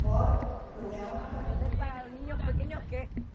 Fora o que eu ganhava na rádio.